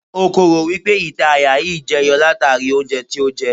O kò rò wípé ìta àyà yí jẹ yọ látàrí oúnjẹ tí ó jẹ.